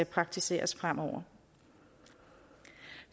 praktiseres fremover